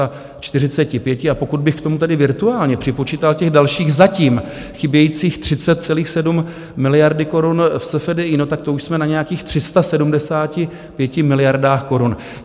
A pokud bych k tomu tedy virtuálně připočítal těch dalších zatím chybějících 30,7 miliardy korun v SFDI, tak to už jsme na nějakých 375 miliardách korun.